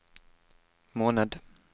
måned